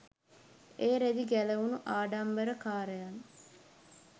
ඒ රෙදි ගැලවුණු ආඩම්බරකාරයන්